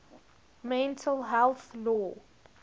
mental health law